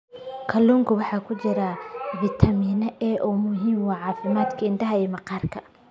Kalluunka waxaa ku jira fitamiin A oo muhiim u ah caafimaadka indhaha iyo maqaarka.